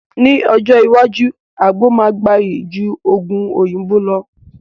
Ní ọjọ́ iwájú, àgbo máa gbayì ju Ògùn òyìnbó lọ